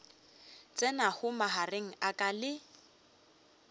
tsenago magareng a ka le